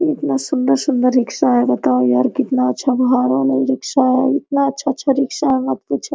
इतना सुन्दर-सुन्दर रिक्शा है बताओ यार कितना अच्छा बहार है नई रिक्क्षा है कितना अच्छा-अच्छा रिक्शा है मत पूछो।